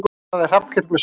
sagði Hallkell með spurn.